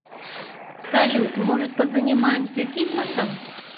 салют может позанимаемся фитнесом